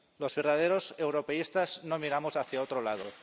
Los verdaderos europeístas no miramos hacia otro lado.